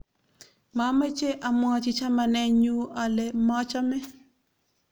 mameche amwochi chamanenyuale machame